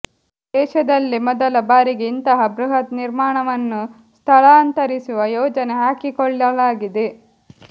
ದೇಶದಲ್ಲೇ ಮೊದಲ ಬಾರಿಗೆ ಇಂತಹ ಬೃಹತ್ ನಿರ್ಮಾಣವನ್ನು ಸ್ಥಳಾಂತರಿಸುವ ಯೋಜನೆ ಹಾಕಿಕೊಳ್ಳಲಾಗಿದೆ